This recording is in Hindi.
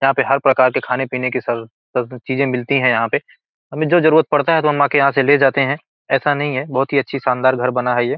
यहाँ पे हर प्रकार के खाने-पीने की चीजें मिलती हैं यहाँ पे। हमें जो जरूरत पड़ता है तो हम आ के यहाँ से ले जाते हैं। ऐसा नहीं है बोहत ही अच्छी शानदार घर बना है ये।